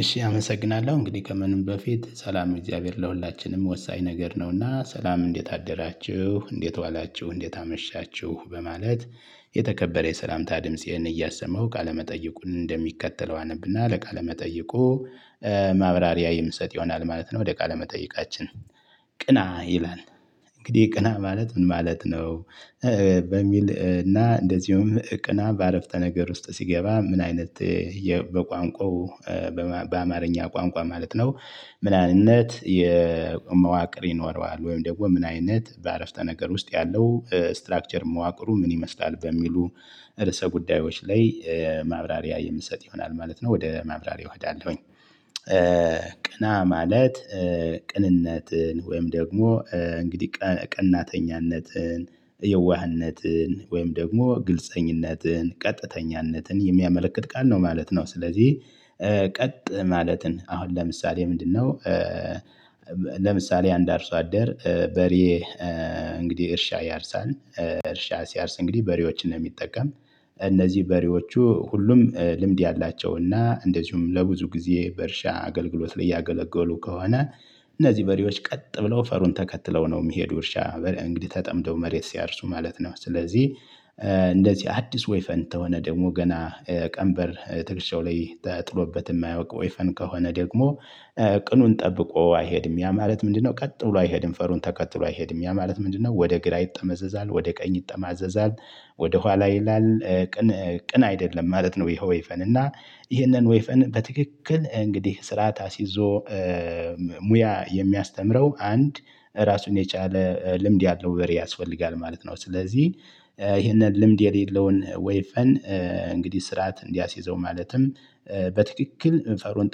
እሺ አመሰግናለሁ እንግዲህ ከምንም በፊት ሰላመ እግዚአብሔር ለሁላችንም ወሳኝ ነገር ነው። እና ሰላም እንዴት አደራችሁ እንዴት ዋላችሁ እንዴት አመሻችሁ በማለት። የተከበረ የሰላምታ ድምፄን እያሰማሁ ቃለመጠይቁን እንደሚከተለው አነብ እና ለቃለ መጠይቁ ማብራሪያ የምሰጥ ይሆናል ማለት ነው። ወደ ቃለመጠይቃችን ቅና ይላል። እንግዲህ ቅና ማለት ምን ማለት ነው? በሚል እና እንደዚሁም ቅና በአረፍተ ነገር ውስጥ ሲገባ ምን አይነት? በቋንቋው በአማርኛ ቋንቋ ማለት ነው። ምን አይነት የመዋቅር ይኖረዋል ወይም ደግሞ ምን አይነት በአረፍተ ነገር ውስጥ ያለው ስትራክቸር መዋቅሩ ምን ይመስላል በሚሉ? ርዕሰ ጉዳዮች ላይ ማብራሪያ የምሰጥ ይሆናል ማለት ነው ወደ ማብራሪያው እሄዳለሁኝ። ቅና ማለት ቅንነትን ወይም ደግሞ እንግዲህ ቀናተኝነትን የዋህነትን ወይም ደግሞ ግልፀኝነትን ቀጥተኛነትን የሚያመለክት ቃል ነው ማለት ነው። ስለዚህ ቀጥ ማለትን አሁን ለምሳሌ ምንድን ነው? ለምሳሌ አንድ አርሶ አደር በሬ እንግዲህ እርሻ ያርሳል። እርሻ ሲያርስ እንግዲህ በሬዎችን ነው የሚጠቀም። እነዚህ በሬዎቹ ሁሉም ልምድ ያላቸው እና እንደዚሁም ለብዙ ጊዜ በእርሻ አገልግሎት ላይ ያገለገሉ ከሆነ። እነዚህ በሬዎች ቀጥ ብለው ፈሩን ተከትለው ነው የሚሄዱ እርሻ እንግዲህ ተጠምደው መሬት ሲያርሱ ማለት ነው። ስለዚህ እንደዚህ አዲስ ወይፈን ተሆነ ደግሞ ገና ቀንበር ትከሻው ላይ ተጥሎበት የማያውቅ ወይፈን ከሆነ ደግሞ። ቅኑን ጠብቆ አይሄድም ያ ማለት ምንድነው ቀጥ ብሎ አይሄድም ፈሩን ተከትሎ አይሄድም ያ ማለት ምንድነው? ወደ ግራ ይጠመዘዛል ወደ ቀኝ ይጠማዘዛል ወደ ኋላ ይላል። ቅን አይደለም ማለት ነው። ይሄ ወይፈን እና ይሄንን ወይፈን በትክክል እንግዲህ ስርዓት አስይዞ ሙያ የሚያስተምረው አንድ ራሱን የቻለ ልምድ ያለው በሬ ያስፈልጋል ማለት ነው። ስለዚህ ይሄንን ልምድ የሌለውን ወይፈን እንግዲህ ስርዓት እንዲያስይዘው ማለትም በትክክል ፈሩን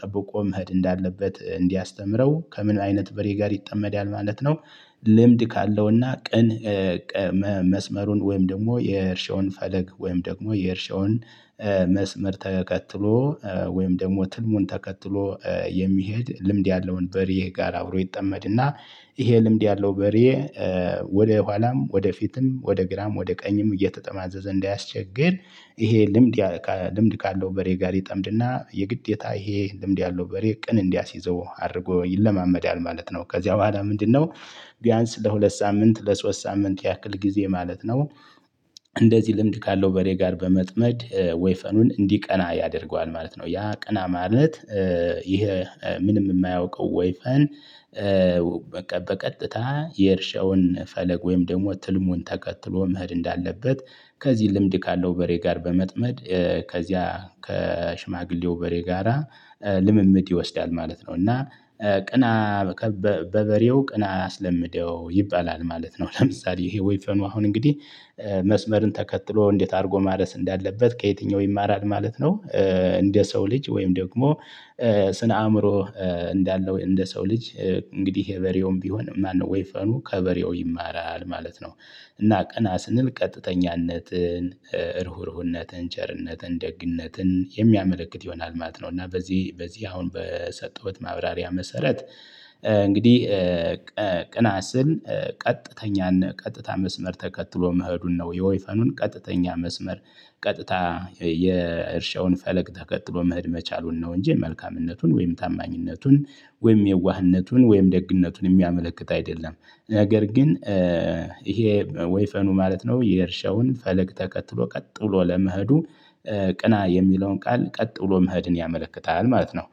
ጠብቆ መሄድ እንዳለበት እንዲያስተምረው ከምን አይነት በሬ ጋር ይጠመዳል ማለት ነው። ልምድ ካለው እና ቅን። መስመሩን ወይም ደግሞ የእርሻውን ፈለግ ወይም ደግሞ የእርሻውን መስመር ተከትሎ ወይም ደግሞ ትልሙን ተከትሎ የሚሄድ ልምድ ያለውን በሬ ጋር አብሮ ይጠመድ እና ይሄ ልምድ ያለው በሬ። ወደ ኋላም ወደ ፊትም ወደ ግራም ወደ ቀኝም እየተጠማዘዘ እንዳያስቸግር ይሄ ልምድ ልምድ ካለው በሬ ጋር ይጠምድ እና የግዴታ ይሄ ልምድ ያለው በሬ ቅን እንዲያስይዘው አድርጎ ይለማመዳል ማለት ነው። ከዚያ በኋላ ምንድነው? ቢያንስ ለሁለት ሳምንት ለሶስት ሳምንት ያክል ጊዜ ማለት ነው። እንደዚህ ልምድ ካለው በሬ ጋር በመጥመድ ወይፈኑን እንዲቀና ያደርገዋል ማለት ነው። ያ ቅና ማለት። ይሄ ምንም የማያውቀው ወይፈን። በቀጥታ የእርሻውን ፈለግ ወይም ደግሞ ትልሙን ተከትሎ መሄድ እንዳለበት ከዚህ ልምድ ካለው በሬ ጋር በመጥመድ። ከዚያ ከሽማግሌው በሬ ጋራ ልምምድ ይወስዳል ማለት ነው። እና ቅና በበሬው ቅና አስለምደው ይባላል ማለት ነው። ለምሳሌ ይሄ ወይፈኑ አሁን እንግዲህ መስመርን ተከትሎ እንዴት አድርጎ ማረስ እንዳለበት ከየትኛው ይማራል ማለት ነው? እንደ ሰው ልጅ ወይም ደግሞ ስነ አእምሮ እንዳለው እንደ ሰው ልጅ እንግዲህ በሬውም ቢሆን ማነው ወይፈኑ ከበሬው ይማራል ማለት ነው። እና ቅና ስንል ቀጥተኛነትን ሩህሩህነትን ቸርነትን ደግነትን የሚያመለክት ይሆናል ማለት ነው። እና በዚህ በዚህ አሁን በሰጠሁት ማብራሪያ መሰረት። እንግዲህ ቅና ስል ቀጥተኛን ቀጥታ መስመር ተከትሎ መሄዱን ነው የወይፈኑን ቀጥተኛ መስመር ቀጥታ የእርሻውን ፈለግ ተከትሎ መሄድ መቻሉን ነው። እንጂ መልካምነቱን ወይም ታማኝነቱን ወይም የዋህነቱን ወይም ደግነቱን የሚያመለክት አይደለም። ነገር ግን። ይሄ ወይፈኑ ማለት ነው የእርሻውን ፈለግ ተከትሎ ቀጥሎ ለመሄዱ ቅና የሚለውን ቃል ቀጥ ብሎ መሄድን ያመለክታል ማለት ነው።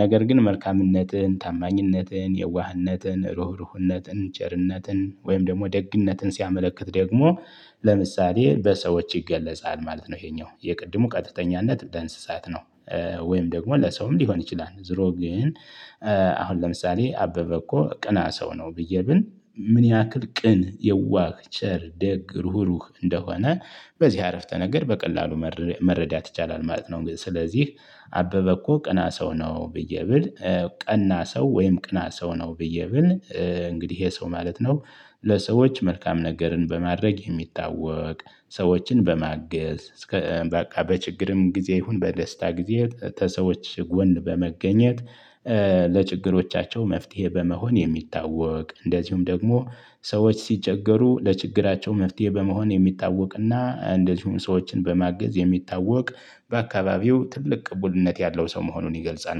ነገር ግን መልካምነትን ታማኝነትን የዋህነትን ሩህሩህነትን ቸርነትን ወይም ደግሞ ደግነትን ሲያመለክት ደግሞ ለምሳሌ በሰዎች ይገለጻል ማለት ነው። ይሄኛው የቅድሙ ቀጥተኛነት በእንስሳት ነው። ወይም ደግሞ ለሰውም ሊሆን ይችላል ዙሮ ግን። አሁን ለምሳሌ አበበ እኮ ቅና ሰው ነው ብዬ ብል ምን ያክል ቅን የዋህ ቸር ደግ ሩህሩህ እንደሆነ በዚህ አረፍተ ነገር በቀላሉ መረዳት ይቻላል ማለት ነው። ስለዚህ አበበ እኮ ቅና ሰው ነው ብዬ ብል ቀና ሰው ወይም ቅና ሰው ነው ብዬ ብል እንግዲህ ይሄ ሰው ማለት ነው። ለሰዎች መልካም ነገርን በማድረግ የሚታወቅ ሰዎችን በማገዝ እስከ በቃ በችግርም ጊዜ ይሁን በደስታ ጊዜ ተሰዎች ጎን በመገኘት። ለችግሮቻቸው መፍትሄ በመሆን የሚታወቅ እንደዚሁም ደግሞ ሰዎች ሲቸገሩ ለችግራቸው መፍትሄ በመሆን የሚታወቅ እና እንደዚሁም ሰዎችን በማገዝ የሚታወቅ በአካባቢው ትልቅ ቅቡልነት ያለው ሰው መሆኑን ይገልጻል